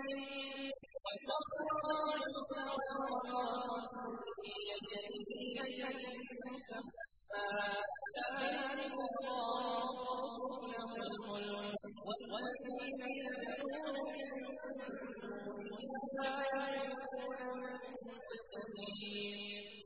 فِي اللَّيْلِ وَسَخَّرَ الشَّمْسَ وَالْقَمَرَ كُلٌّ يَجْرِي لِأَجَلٍ مُّسَمًّى ۚ ذَٰلِكُمُ اللَّهُ رَبُّكُمْ لَهُ الْمُلْكُ ۚ وَالَّذِينَ تَدْعُونَ مِن دُونِهِ مَا يَمْلِكُونَ مِن قِطْمِيرٍ